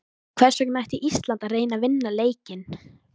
Hvers vegna ætti Ísland að reyna að vinna leikinn?